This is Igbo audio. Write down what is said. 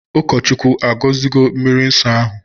Ụkọchukwu agozigo mmiri nsọ ahụ?